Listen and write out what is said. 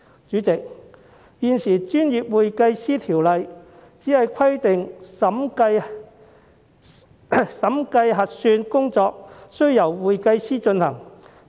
主席，現時《專業會計師條例》只規定審計核算工作需由會計師進行。